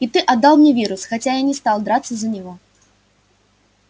и ты отдал мне вирус хотя я не стал драться за него